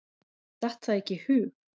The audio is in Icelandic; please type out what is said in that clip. Datt það ekki í hug.